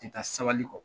Tɛ taa sabali kɔ